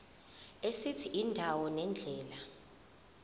esithi indawo nendlela